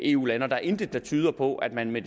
eu lande og der er intet der tyder på at man med